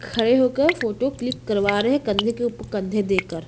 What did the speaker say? खड़े होकर photo click करवा रहे है कंधे के उप कंधे देकर।